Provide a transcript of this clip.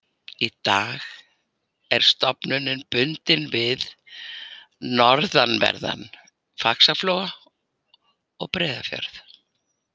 Í dag er stofninn bundinn við norðanverðan Faxaflóa og Breiðafjörð.